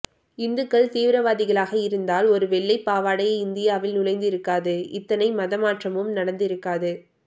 இந்துக்கள் தீவிரவாதிகளாக இருந்தால் ஒரு வெள்ளை பாவாடை இந்தியாவில் நுழைந்து இருக்காது இத்தனை மத மாற்றமும் நடந்து இருக்காது